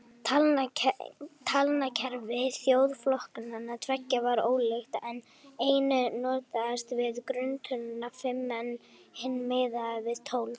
Talnakerfi þjóðflokkanna tveggja var ólíkt, einn notaðist við grunntöluna fimm en hinn miðaði við tólf.